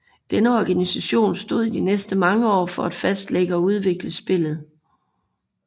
Denne organisation stod i de næste mange år for at fastlægge og udvikle spillet